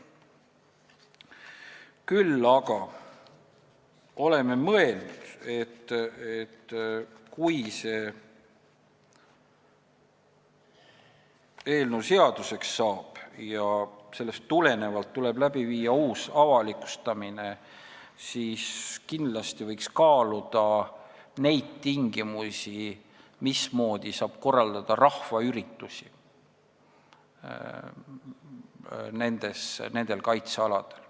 Küll aga oleme mõelnud, et kui see eelnõu seaduseks saab ja tuleb viia läbi ka uus avalikustamine, siis võiks kaaluda neid tingimusi, mismoodi saab nendel kaitsealadel rahvaüritusi korraldada.